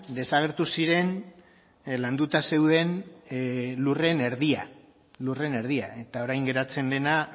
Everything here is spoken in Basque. desagertu ziren landuta zeuden lurren erdia lurren erdia eta orain geratzen dena